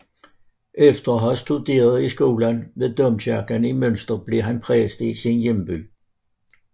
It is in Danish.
Efter at have studeret i skolen ved domkirken i Münster blev han præst i sin hjemby